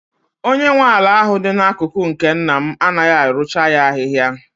Onye nwe ala ahụ dị n'akụkụ nke nna m anaghị arụcha ya ahịhịa.